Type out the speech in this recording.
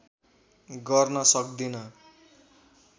गर्न सक्दिन